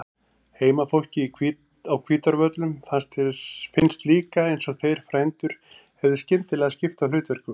Heimafólki á Hvítárvöllum fannst líka eins og þeir frændur hefðu skyndilega skipt á hlutverkum.